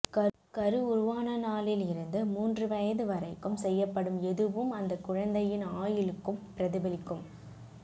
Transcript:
கரு உருவான நாளில் இருந்து மூன்று வயது வரைக்கும் செய்யப்படும் எதுவும் அந்தக் குழந்தையின் ஆயுளுக்கும் பிரதிபலிக்கும்